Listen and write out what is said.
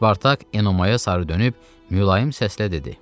Spartak Enomayə sarı dönüb mülayim səslə dedi.